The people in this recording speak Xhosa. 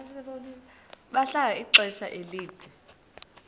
bahlala ixesha elide